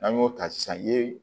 N'an y'o ta sisan ye